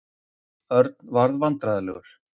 Örn varð vandræðalegur.